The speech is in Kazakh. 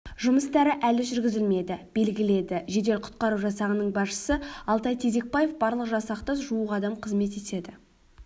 жұмыстары әлі жүргізілмеді белгіледі жедел-құтқару жасағының басшысы алтай тезекпаев барлы жасақта жуық адам қызмет етеді